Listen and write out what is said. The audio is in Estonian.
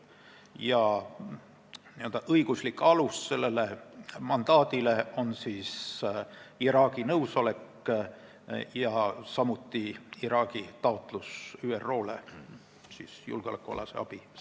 Selle mandaadi n-ö õiguslik alus on Iraagi nõusolek ja samuti taotlus ÜRO-le saada julgeolekualast abi.